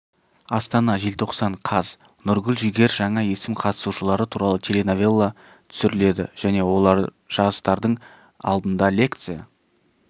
астана желтоқсан қаз нұргүл жігер жаңа есім қатысушылары туралы теленовелла түсіріледі және олар жастардың алдында лекция